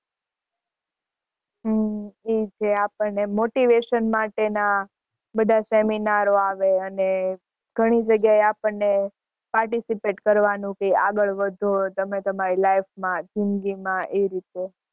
હમ એવું છે. આપણને motivation માટે ના બધાં seminar આવે અને ઘણી જગ્યા એ આપણને participate કરવાનું કે આગળ વધો તમે તમારી life માં જિંદગી માં એ રીતે.